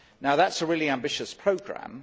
That is a really ambitious programme.